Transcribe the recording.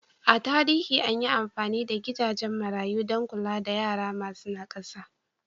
A tarihi an yi amfani da gidajen marayu don kula da yara masu nakasa.